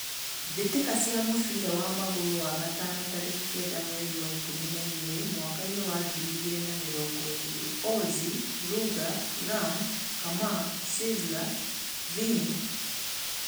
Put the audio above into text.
Mbitika cia mũbira wa magũrũ, wa gatano, tariki kenda mwerinĩ wa ikũmi na igĩri, mwakainĩ wa ngiri igĩrĩ na mĩrongo ĩri: Ozi, Ruger, Ram, Kamaa, Sizzla, Vinny